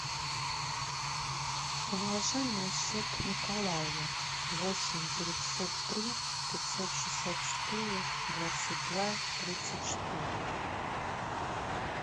положи на счет николаю восемь девятьсот три пятьсот шестьдесят четыре двадцать два тридцать четыре